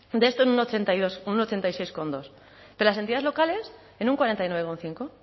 de esto en un ochenta y seis coma dos pero las entidades locales en un cuarenta y nueve coma cinco